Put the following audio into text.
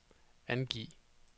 angiv